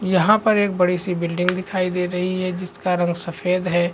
यहाँ पर एक बड़ी सी बिल्डिंग दिखाई दे रही है जिसका रंग सफ़ेद है।